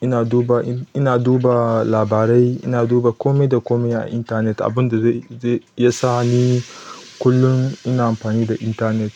ina duba, ina duba labarai, ina duba kome da kome a intanet. Abun da zai, zai, iya sa ni kullum ina amfani da intanet.